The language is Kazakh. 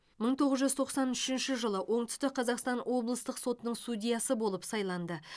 мың тоғыз жүз тоқсан үшінші жылы оңтүстік қазақстан облыстық сотының судьясы болып сайланды